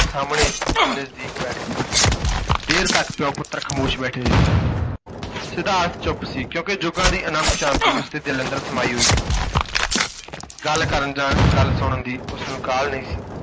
ਸਾਹਮਣੇ ਹੋ ਕੇ ਨਜ਼ਦੀਕ ਬੈਠ ਗਿਆ, ਦੇਰ ਤਕ ਪਿਉ ਪੁੱਤਰ ਖਾਮੋਸ਼ ਬੈਠੇ ਰਹੇ ਸਿਧਾਰਥ ਚੁੱਪ ਸੀ ਕਿਉਂਕਿ ਜੁੱਗਾਂ ਦੀ ਅਨੰਤ ਸ਼ਾਂਤੀ ਉਸ ਦੇ ਦਿਲ ਅੰਦਰ ਸਮਾਈ ਹੋਈ ਸੀ। ਗੱਲ ਕਰਨ ਜਾਂ ਗੱਲ ਸੁਣਨ ਦੀ ਉਸ ਨੂੰ ਕਾਹਲ ਨਹੀਂ ਸੀ।